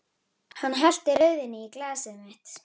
Hann hellti rauðvíni í glasið mitt.